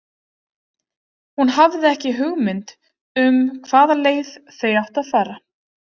Hún hafði ekki hugmynd um hvaða leið þau áttu að fara.